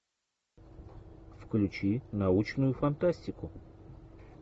включи научную фантастику